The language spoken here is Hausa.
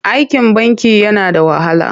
Aikin banki yana da wahala.